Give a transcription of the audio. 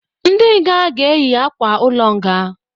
Ndị nga ga eyi akwa-ulo nga